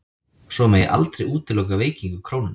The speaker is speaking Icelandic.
Svo megi aldrei útiloka veikingu krónunnar